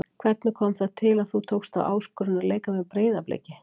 Hvernig kom það til að þú tókst þá áskorun að leika með Breiðabliki?